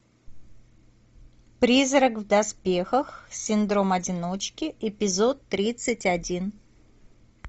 призрак в доспехах синдром одиночки эпизод тридцать один